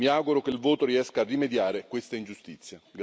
Mi auguro che il voto riesca a rimediare a questa ingiustizia.